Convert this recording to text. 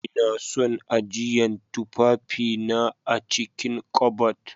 lna son ajiyan tufafi na a'cikin ƙabad.